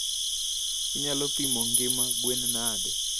inyalo pimo ngima gwen nade?